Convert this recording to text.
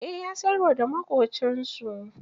Eh, ya siyarwa da maƙocinsu